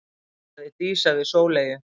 sagði Dísa við Sóleyju.